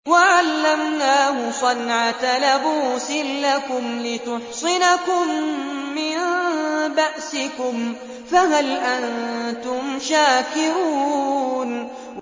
وَعَلَّمْنَاهُ صَنْعَةَ لَبُوسٍ لَّكُمْ لِتُحْصِنَكُم مِّن بَأْسِكُمْ ۖ فَهَلْ أَنتُمْ شَاكِرُونَ